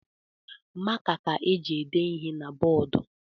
Maka ka eji ede ihe na bọọdụ